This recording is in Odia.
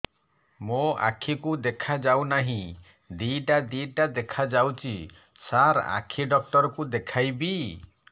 ମୋ ଆଖିକୁ ଦେଖା ଯାଉ ନାହିଁ ଦିଇଟା ଦିଇଟା ଦେଖା ଯାଉଛି ସାର୍ ଆଖି ଡକ୍ଟର କୁ ଦେଖାଇବି